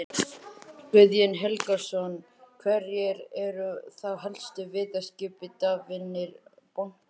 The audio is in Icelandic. Guðjón Helgason: Hverjir eru þá helstu viðskiptavinir bankans?